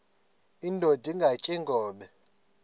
indod ingaty iinkobe